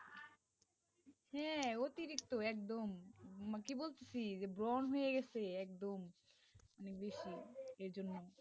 হ্যাঁ অতিরিক্ত একদম, মানে কি বলতেছি ব্রণ হয়ে গেছে একদম বেশি, এই জন্য.